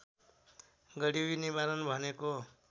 गरिबी निवारण भनेको